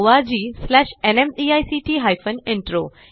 spoken tutorialorgnmeict intro